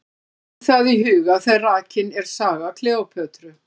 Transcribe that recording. Hafa verður það í huga þegar rakin er saga Kleópötru.